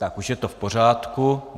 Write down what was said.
Tak už je to v pořádku.